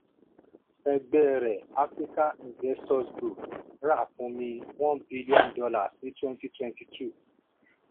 ẹgbẹ́ rẹ̀ africa investors group rákúnmi one billion dollars ní twenty twenty two